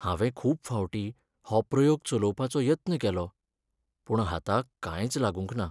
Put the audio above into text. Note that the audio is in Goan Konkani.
हांवें खूब फावटीं हो प्रयोग चलोवपाचो यत्न केलो , पूण हाताक कांयच लागूंक ना.